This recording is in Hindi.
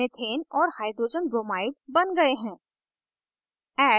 methane ch4 और hydrogenbromide hbr बन गए हैं